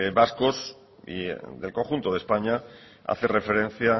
vascos y del conjunto de españa hace referencia